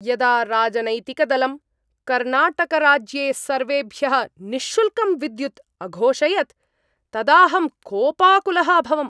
यदा राजनैतिकदलं कर्णाटकराज्ये सर्वेभ्यः निःशुल्कं विद्युत् अघोषयत् तदाहं कोपाकुलः अभवम्।